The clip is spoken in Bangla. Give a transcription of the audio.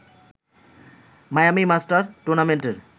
মায়ামি মাস্টার্স টুর্নামেন্টের